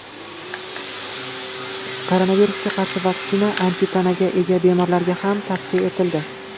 Koronavirusga qarshi vaksina antitanaga ega bemorlarga ham tavsiya etildi.